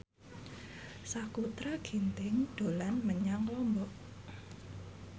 Sakutra Ginting dolan menyang Lombok